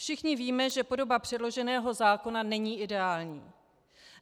Všichni víme, že podoba předloženého zákona není ideální.